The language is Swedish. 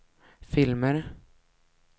filmer